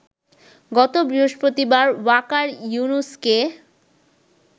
গত বৃহস্পতিবার ওয়াকার ইউনুসকে